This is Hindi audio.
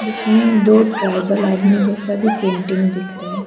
इसमें दो ट्राइबल आदमी जैसा भी पेंटिंग दिख रहा है।